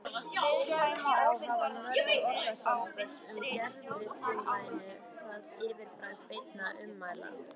Þá hafa mörg orðasambönd með gervifrumlaginu það yfirbragð beinna ummæla